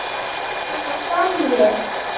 Hana Sonju?